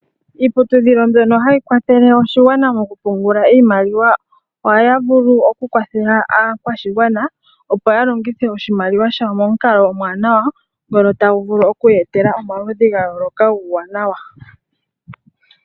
Iiputudhilo mbyono hayi kwathele oshigwana mokupungula iimaliwa ohaya vulu okukwathela aakwashigwana opo ya longithe oshimaliwa shawo momukalo omuwanawa ngono tagu vulu okuya etelela omaludhi ga yooloka guuwanawa